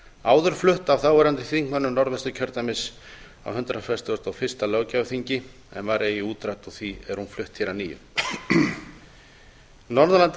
áður flutt af þáverandi þingmönnum norðvesturkjördæmis á hundrað fertugasta og fyrsta löggjafarþingi en var eigi útrædd og er því flutt að nýju norðurland